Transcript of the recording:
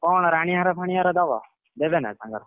ଆଉ କଣ ରାଣୀ ହାର ଫାଣୀ ହାର ଦବ ଦେବେ ନା ତାଙ୍କର?